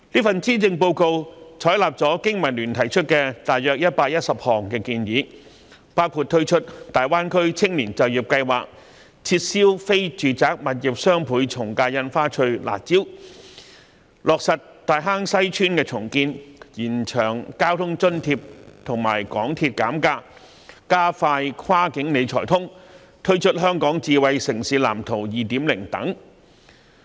施政報告採納了香港經濟民生聯盟提出的約110項建議，包括推出大灣區青年就業計劃、撤銷非住宅物業雙倍從價印花稅的"辣招"、落實大坑西邨重建、延長交通津貼及港鐵減價安排、加快落實"跨境理財通"、推出《香港智慧城市藍圖 2.0》等。